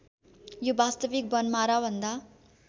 यो वास्तविक वनमाराभन्दा